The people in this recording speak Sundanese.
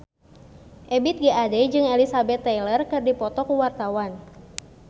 Ebith G. Ade jeung Elizabeth Taylor keur dipoto ku wartawan